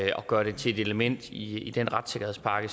gøre det til et element i den retssikkerhedspakke